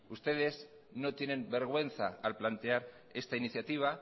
ustedes no tienen vergüenza al plantear esta iniciativa